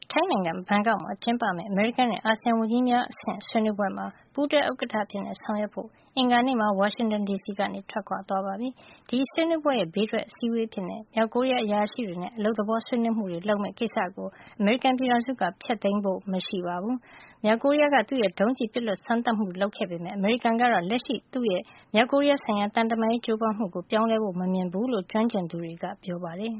ထိုင်းနိုင်ငံ ဘန်ကောက်မှာကျင်းပမယ့် အမေရိကန်နဲ့ အာဆီယံ ဝန်ကြီးများအဆင့်ဆွေးနွေးပွဲမှာ ပူးတွဲ ဥက္ကဌအဖြစ် တာဝန်ယူမယ့် အမေရိကန် နိုင်ငံခြားရေးဝန်ကြီး Mike Pompeo ဟာ အင်္ဂါနေ့ ဝါရှင်တန်ဒီစီကနေ ထွက်ခွာသွားပါပြီ။ ဘန်ကောက်မှာ ကျင်းပမယ့် အာဆီယံအဖွဲ့ရဲ့ ဒေသတွင်းဆွေးနွေးပွဲတွေမှာ ဘေးထွက်အစည်းအဝေးအဖြစ် မြောက်ကိုရီးယား အရာရှိတွေနဲ့ အလုပ်သဘောဆွေးနွေးပွဲတွေကို အမေရိကန်ဘက်က ပယ်ဖျက်ဖို့ မရှိပါဘူး။ မြောက်ကိုရီးယားရဲ့ လတ်တလော ဒုံးကျည်စမ်းသပ်မှုတွေ လုပ်ခဲ့ပေမယ့် အမေရိကန်ကတော့ သူ့ရဲ့ လက်ရှိ မြောက်ကိုရီးယားဆိုင်ရာ သံတမန်ရေး ကြိုးပမ်းမှုကို ပြောင်းလဲပစ်မှာ မဟုတ်ဖူးလို့ ကျွမ်းကျင်သူတွေက ပြောပါတယ်